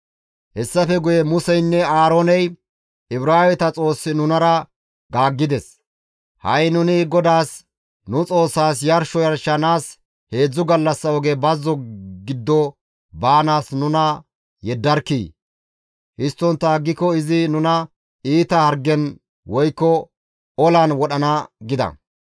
Hessafe guye Museynne Aarooney, «Ibraaweta Xoossi nunara gaaggides. Ha7i nuni GODAAS, nu Xoossaas yarsho yarshanaas heedzdzu gallassa oge bazzo giddo baanaas nuna yeddarkkii! Histtontta aggiko izi nuna iita hargen woykko olan wodhana» gida.